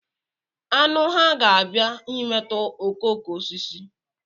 Aṅụ hà ga-abịa imetọ okooko osisi?